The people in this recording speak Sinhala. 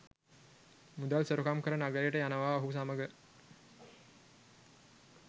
මුදල් සොරකම් කර නගරයට යනවා ඔහු සමග